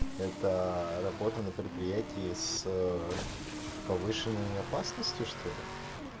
это работа на предприятии с повышенной опасностью что ли